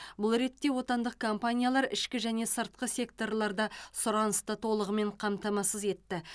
бұл ретте отандық компаниялар ішкі және сыртқы секторларда сұранысты толығымен қамтамасыз етті